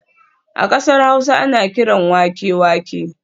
A kasar Hausa ana kiran wake wake